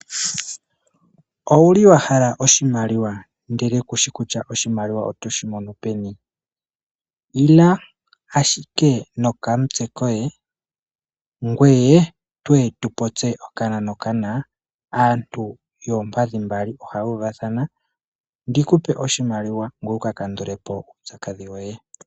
Owuli wahala oshhindele kushi kutya otoshi adha peni? Ila ashike nokamutse koye aantu yoompadhi mbali oha yuuvathana tu popye okana nokana wupewe oshimaliwa wuka kandulepo uupyakadhi woye.